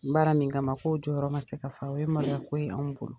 Baara min kama k'o jɔyɔrɔ ma se ka fa; o ye maloya ko ye anw bolo.